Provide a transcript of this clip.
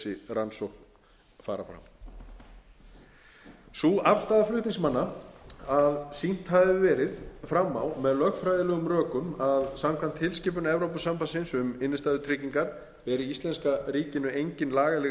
rannsókn fara fram sú afstaða flutningsmanna að sýnt hafi verið fram á með lögfræðilegum rökum að samkvæmt tilskipun evrópusambandsins um innstæðutryggingar beri íslenska ríkinu engin lagaleg